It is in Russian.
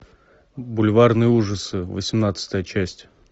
бульварные ужасы восемнадцатая часть